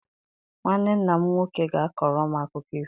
Nwanne nna m nwoke ga-akọrọ m akụkọ ifo.